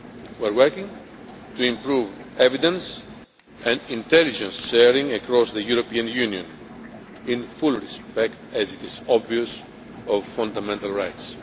on. We are working to improve evidence and intelligence sharing across the European Union, in full respect as is obvious of fundamental rights.